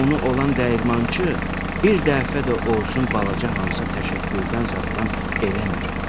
onu olan dəyirmançı bir dəfə də olsun balaca hansısa təşəkkürdən zaddan eləmir.